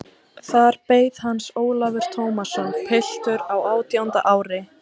Þar beið hans Ólafur Tómasson, piltur á átjánda ári.